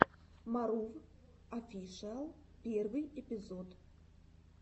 марув офишиал первый эпизод